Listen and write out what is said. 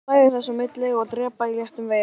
Hlæja þess á milli og dreypa á léttum veigum.